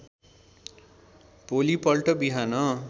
भोलिपल्ट बिहान